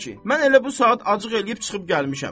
Mən elə bu saat acıq eləyib çıxıb gəlmişəm.